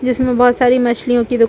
जिसमे बहोत सारी मच्छलीयों की दूका --